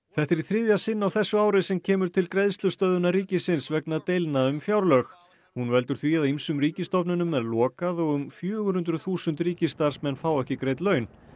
þetta er í þriðja sinn á þessu ári sem kemur til greiðslustöðvunar ríkisins vegna deilna um fjárlög hún veldur því að ýmsum ríkisstofnunum er lokað og um fjögur hundruð þúsund ríkisstarfsmenn fá ekki greidd laun